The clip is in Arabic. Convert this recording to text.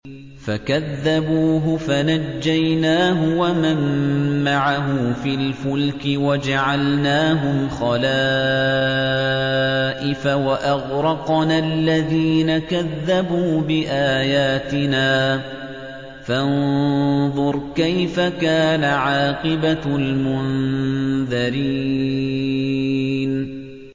فَكَذَّبُوهُ فَنَجَّيْنَاهُ وَمَن مَّعَهُ فِي الْفُلْكِ وَجَعَلْنَاهُمْ خَلَائِفَ وَأَغْرَقْنَا الَّذِينَ كَذَّبُوا بِآيَاتِنَا ۖ فَانظُرْ كَيْفَ كَانَ عَاقِبَةُ الْمُنذَرِينَ